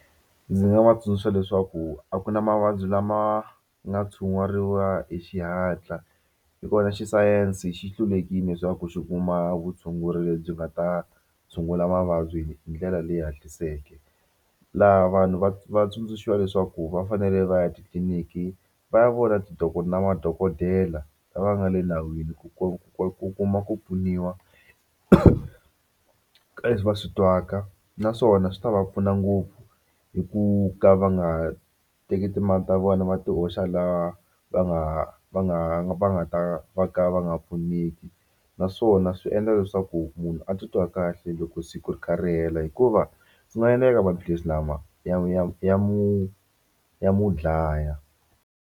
Ndzi nga va tsundzuxa leswaku a ku na mavabyi lama nga tshunguriwa hi xihatla hikuva na xisayense xi hlulekile leswaku xi kuma vutshunguri lebyi nga ta tshungula mavabyi hi ndlela leyi hatliseke laha vanhu va va tsundzuxiwa leswaku va fanele va ya titliniki va ya vona na madokodela lava nga le nawini ku ku ku kuma ku pfuniwa ka leswi va swi twaka naswona swi ta va pfuna ngopfu hi ku ka va nga teki timali ta vona va ti hoxa laha va nga va nga va nga ta va ka va nga pfuneki naswona swi endla leswaku munhu a titwa kahle loko siku ri kha ri hela hikuva swi nga endleka maphilisi lama ya ya ya mu ya mu dlaya.